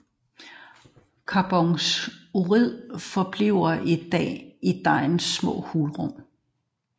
Carbondioxid forbliver i dejens små hulrum